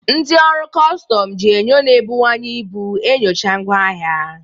Ndị ọrụ kọstọm ji enyo na-ebuwanye ibu enyocha ngwa ahịa.